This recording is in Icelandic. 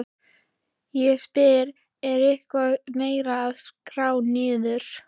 Ég spyr, er eitthvað meira að skera niður?